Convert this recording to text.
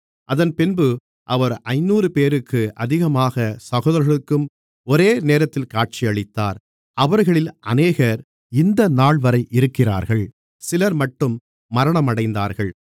அதன்பின்பு அவர் ஐந்நூறுபேருக்கு அதிகமான சகோதரர்களுக்கும் ஒரே நேரத்தில் காட்சியளித்தார் அவர்களில் அநேகர் இந்தநாள்வரை இருக்கிறார்கள் சிலர்மட்டும் மரணமடைந்தார்கள்